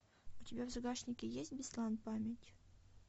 у тебя в загашнике есть беслан память